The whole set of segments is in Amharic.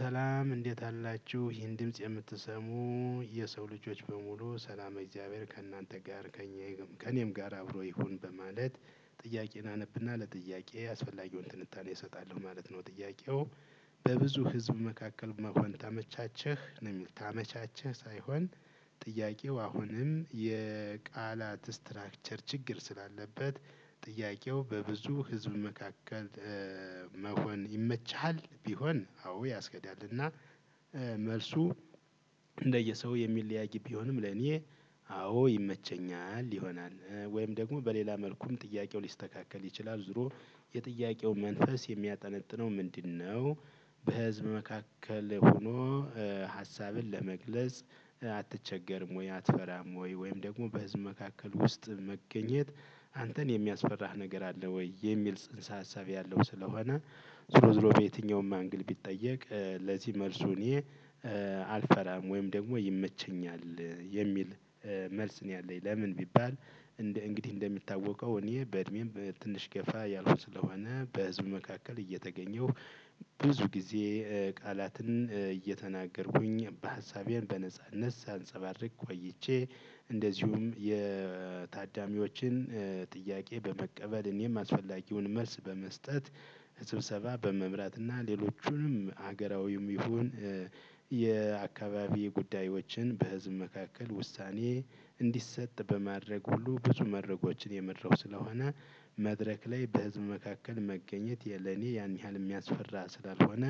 ሰላም እንዴት አላችሁ ይሄን ድምጽ የምትሰሙ የሰው ልጆች በሙሉ ሰላመ እግዚአብሔር ከእናንተ ጋር። ከእኔም ጋር አብሮ ይሁን በማለት ጥያቄን አነብና ለጥያቄ ያስፈልገውን ትንታኔ እሰጣለሁ ማለት ነው። ጥያቄው በብዙ ህዝብ መካከል መሆን ታመቻቸህ ነው የሚል ታመቻቸህ ሳይሆን። ጥያቄው አሁንም የቃላት ስትራክቸር ችግር ስላለበት ጥያቄው በብዙ ህዝብ መካከል? መሆን ይመችሃል ቢሆን አዎ ያስከዳልና። መልሱ እንደየሰው የሚለያይ ቢሆንም ለኔ አዎ ይመቸኛል ይሆናል። ወይም ደግሞ በሌላ መልኩም ጥያቄው ሊስተካከል ይችላል። ዞሮ የጥያቄው መንፈስ የሚያጠነጥነው ምንድነው? በህዝብ መካከል ሆኖ ሀሳብን ለመግለጽ አትቸገርም ወይ አትፈራም ወይ ወይም ደግሞ በህዝብ መካከል ውስጥ መገኘት አንተን የሚያስፈራህ ነገር አለ ወይ? የሚል ጽንሰ ሀሳብ ያለው ስለሆነ ዝሮ ዝሮ በየትኛውም አንግል ቢጠየቅ ለዚህ መልሱኔ አልፈራም ወይም ደግሞ ይመቸኛል የሚል መልስ ነው። የለኝ ለምን ቢባል? እንደ እንግዲህ እንደሚታወቀው እኔ በእድሜም ትንሽ ገፋ ያልኩ ስለሆነ በህዝብ መካከል እየተገኘሁ። ብዙ ጊዜ ቃላትን እየተናገርኩኝ ሀሳቤን በነጻነት ሳንፀባርቅ ቆይቼ። እንደዚሁም የታዳሚዎችን ጥያቄ በመቀበል እኔም አስፈላጊውን መልስ በመስጠት። ስብሰባ በመምራት እና ሌሎቹንም ሀገራዊም ይሁን የአካባቢ ጉዳዮችን በህዝብ መካከል ውሳኔ እንዲሰጥ በማድረግ ሁሉ ብዙ መድረኮችን የመራው ስለሆነ። መድረክ ላይ በህዝብ መካከል መገኘት የለኔ ያን ያህል የሚያስፈራ ስላልሆነ።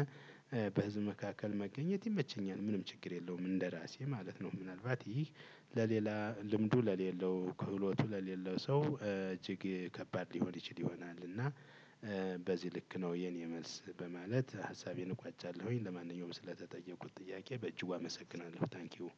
በህዝብ መካከል መገኘት ይመቸኛል ምንም ችግር የለውም እንደራሴ ማለት ነው። ምናልባት ይህ ለሌላ ልምዱ ለሌለው ክህሎቱ ለሌለው ሰው እጅግ ከባድ ሊሆን ይችል ይሆናል እና። በዚህ ልክ ነው የኔ መልስ በማለት ሀሳቤን እቋጫለሁኝ። ለማንኛውም ስለተጠየኩት ጥያቄ በእጅጉ አመሰግናለሁ ታንኪው።